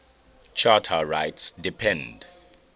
charter rights depend